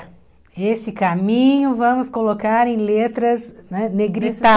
Esse caminho vamos colocar em letras né